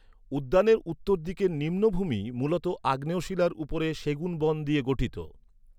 উদ্যানের উত্তর দিকের নিম্নভূমি মূলত আগ্নেয়শিলার উপর সেগুন বন নিয়ে গঠিত।